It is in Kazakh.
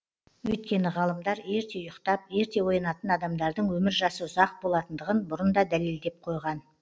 өйткені ғалымдар ерте ұйықтап ерте оянатын адамдардың өмір жасы ұзақ болатындығын бұрын да дәлелдеп қойған